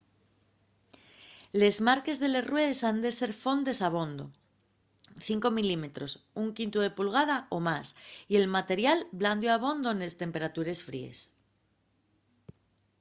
les marques de les ruedes han ser fondes abondo 5 mm 1/5 pulgada o más y el material blandio abondo nes temperatures fríes